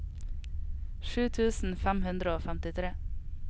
sju tusen fem hundre og femtitre